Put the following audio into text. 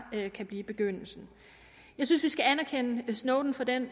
kan blive begyndelsen jeg synes vi skal anerkende snowden for den